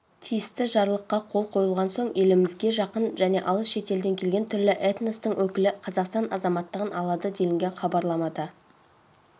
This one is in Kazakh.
тиісті жарлыққа қол қойылған соң елімізге жақын және алыс шетелден келген түрлі этностың өкілі қазақстан азаматтығын алады делінген хабарламада